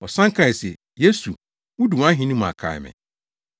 Ɔsan kae se, “Yesu, wudu wʼahenni mu a kae me.”